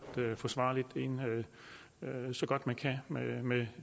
forsvarligt ind så godt man kan med med